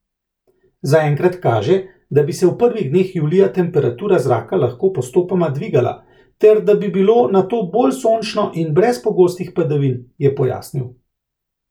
Zaenkrat kaže, da bi se v prvih dneh julija temperatura zraka lahko postopoma dvigala ter da bi bilo nato bolj sončno in brez pogostih padavin, je pojasnil.